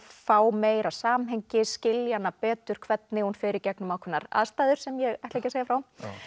fá meira samhengi skilja hana betur hvernig hún fer í gegnum ákveðnar aðstæður sem ég ætla ekki að segja frá